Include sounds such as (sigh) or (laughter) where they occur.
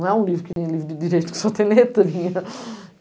Não é um livro que, um livro de direito que só tem letrinhas. (laughs)